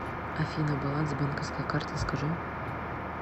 афина баланс банковской карты скажи